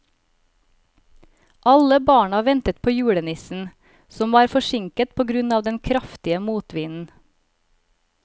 Alle barna ventet på julenissen, som var forsinket på grunn av den kraftige motvinden.